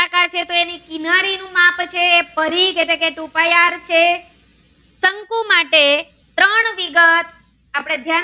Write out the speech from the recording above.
જયારે પરિઘ એટલે કે two pai are છે શંકુ માટે ત્રણ વિગત આપણે ધ્યાન